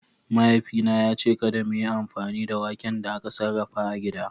Mahaifina ya ce kada mu yi amfani da waken da aka sarrafa a gida.